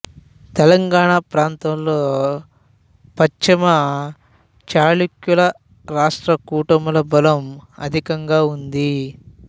తెలంగాణ ప్రాంతంలో పశ్చిమ చాళుక్యుల రాష్ట్రకూటుల బలం అధికంగా ఉంది